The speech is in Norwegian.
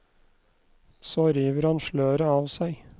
Så river han sløret av seg.